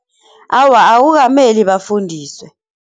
Awa akukameli bafundiswe.